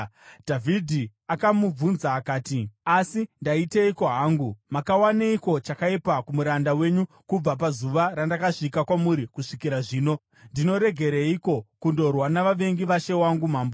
Dhavhidhi akamubvunza akati, “Asi ndaiteiko hangu? Makawaneiko chakaipa kumuranda wenyu kubva pazuva randakasvika kwamuri kusvikira zvino? Ndinoregereiko kundorwa navavengi vashe wangu mambo?”